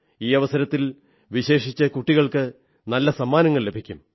ഈ അവസരത്തിൽ വിശേഷിച്ച് കുട്ടികൾക്ക് നല്ല സമ്മാനങ്ങൾ ലഭിക്കും